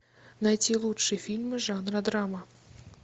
найти лучшие фильмы жанра драма